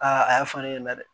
Aa a y'a fɔ ne ɲɛna dɛ